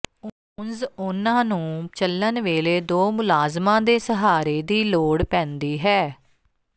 ਉਂਝ ਉਨ੍ਹਾਂ ਨੂੰ ਚੱਲਣ ਵੇਲੇ ਦੋ ਮੁਲਾਜ਼ਮਾਂ ਦੇ ਸਹਾਰੇ ਦੀ ਲੋੜ ਪੈਂਦੀ ਹੈ